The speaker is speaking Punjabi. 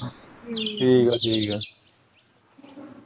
ਠੀਕ ਐਂ ਠੀਕ ਐਂ